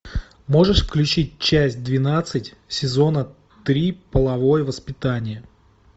можешь включить часть двенадцать сезона три половое воспитание